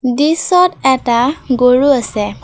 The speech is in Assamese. দৃশ্যত এটা গৰু আছে।